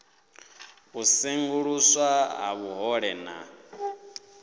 u senguluswa ha vhuhole na